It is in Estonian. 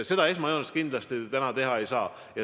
Seda kindlasti täna teha ei saa.